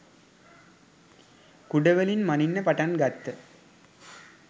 කූඩ වලින් මණින්න පටන්ගත්ත.